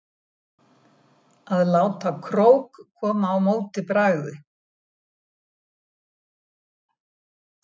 Að láta krók koma á móti bragði